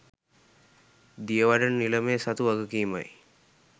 දියවඩන නිලමේ සතු වගකීමයි.